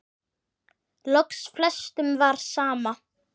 Loks flestum var sama.